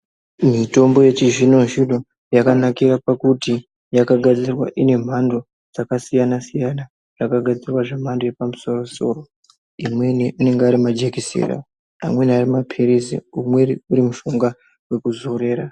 Mitombo yechizvino-zvino yakanakira pakuti yakagadzirwa ine mhando dzakasiyana-siyana dzakagadzirwa zvemhando yepamusoro soro imweni anenge ari majekiseni amweni ari mapiritsi umweni urimushonga wokuzorera.